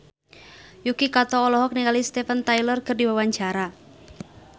Yuki Kato olohok ningali Steven Tyler keur diwawancara